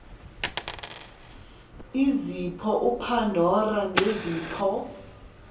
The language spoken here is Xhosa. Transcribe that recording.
izipho upandora nezipho